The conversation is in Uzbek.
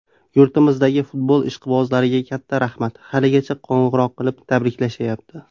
Yurtimizdagi futbol ishqibozlariga katta rahmat, haligacha qo‘ng‘iroq qilib, tabriklashyapti.